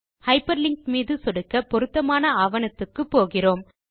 hyper link மீது சொடுக்க பொருத்தமான ஆவணத்துக்கு போகிறோம்